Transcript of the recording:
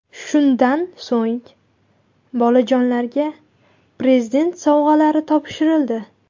Shundan so‘ng bolajonlarga Prezident sovg‘alari topshirildi.